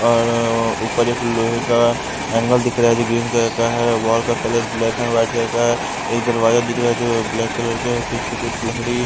और ऊपर एक लोहे का एंगल दिख रहा है जो ग्रीन कलर का है वॉल का colour black and white colour का है एक दरवाजा दिख रहा है जो ब्लैक कलर के है पीछे कुछ लकड़ी --